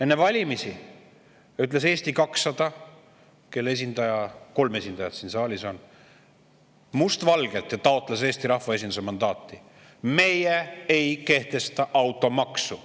Enne valimisi teatas Eesti 200, kelle kolm esindajat ka siin saalis on, taotledes Eesti rahvaesinduse mandaati, must valgel: "Meie ei kehtesta automaksu.